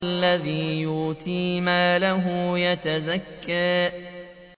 الَّذِي يُؤْتِي مَالَهُ يَتَزَكَّىٰ